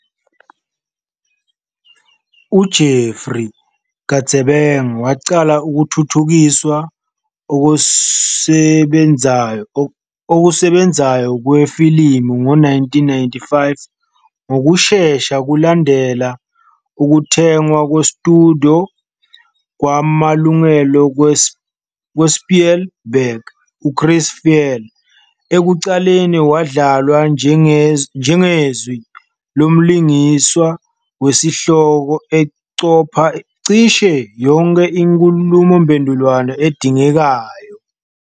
UJeffrey Katzenberg waqala ukuthuthukiswa okusebenzayo kwe ifilimu ngo-1995 ngokushesha kulandela ukuthengwa kwestudio kwamalungelo kwaSpielberg. UChris Farley ekuqaleni wadlalwa njengezwi lomlingiswa wesihloko, eqopha cishe yonke inkhulumomphendvulwano edingekayo.